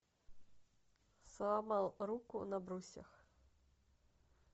сломал руку на брусьях